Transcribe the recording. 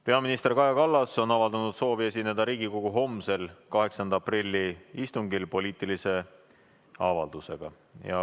Peaminister Kaja Kallas on avaldanud soovi esineda Riigikogu homsel, 8. aprilli istungil poliitilise avaldusega.